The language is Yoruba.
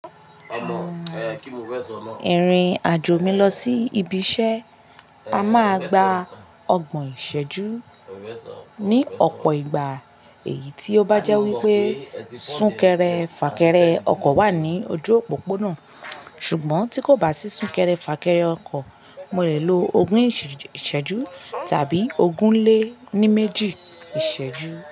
Ìrìn-àjò mi lọ sí ibi iṣẹ́ a máa gba ọgbọ̀n ìṣẹ́jú ní ọ̀pọ̀ ìgbà, èyí tí ó bá jẹ́ wípé súnkẹrẹ fàkẹrẹ ọkọ̀ wà ní ojú òpópónà. Ṣùgbọ́n tí kò bá sí súnkẹrẹ fàkẹrẹ ọkọ̀, mo lè lo ogún ìṣẹ́jú tàbí ogún lé ní méjì ìṣẹ́jú.